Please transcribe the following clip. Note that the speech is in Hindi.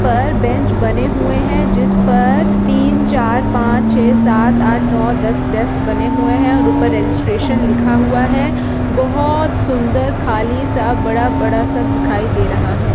पर बेंच बने हुए हैं जिस पर तीन चार पाँच छः सात आठ नौ दस बना हुआ हैं और उपर रेजिस्ट्रेशन लिखा हुआ हैं बहोत सुन्दर खली सा बड़ा बड़ा सा दिखाई दे रहा हैं।